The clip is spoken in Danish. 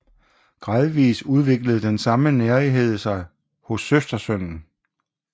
Gradvis udviklede den samme nærighed sig hos søstersønnen